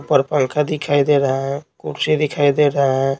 ऊपर पंखा दिखाई दे रहा है कुर्सी दिखाई दे रहा है।